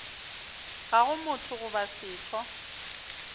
ga go motho goba setho